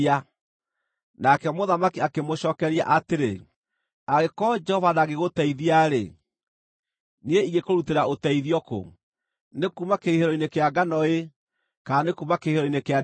Nake mũthamaki akĩmũcookeria atĩrĩ, “Angĩkorwo Jehova ndangĩgũteithia-rĩ, niĩ ingĩkũrutĩra ũteithio kũ? Nĩ kuuma kĩhuhĩro-inĩ kĩa ngano, kana nĩ kuuma kĩhihĩro-inĩ kĩa ndibei?”